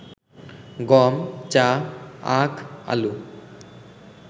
গম, চা, আখ, আলু